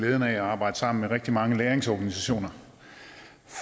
glæden af at arbejde sammen med rigtig mange læringsorganisationer